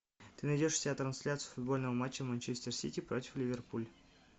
ты найдешь у себя трансляцию футбольного матча манчестер сити против ливерпуль